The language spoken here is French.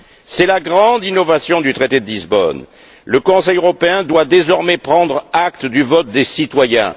C'est la grande innovation du traité de Lisbonne le Conseil européen doit désormais prendre acte du vote des citoyens.